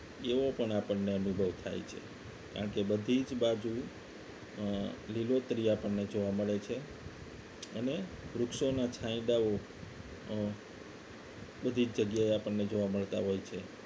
એવો પણ આપણને અનુભવ થાય છે કારણ કે બધી જ બાજુ અ લીલોતરી આપણને જોવા મળે છે અને વૃક્ષોના છાંયડાઓ અ બધી જગ્યાએ આપણને જોવા મળતા હોય છે